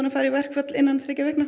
að fara í verkfall innan þriggja vikna